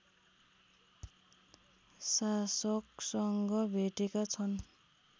शासकसँग भेटेका छन्